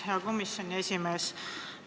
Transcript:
Hea komisjoni esimees!